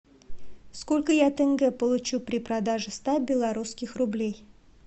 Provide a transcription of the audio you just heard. сколько я тенге получу при продаже ста белорусских рублей